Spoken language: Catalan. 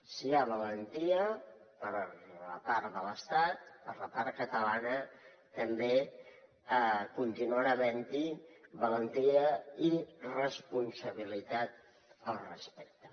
si hi ha valentia per part de l’estat per la part catalana també continuarà havent hi valentia i responsabilitat al respecte